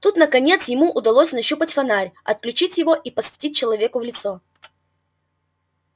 тут наконец ему удалось нащупать фонарь отлючить его и посветить человеку в лицо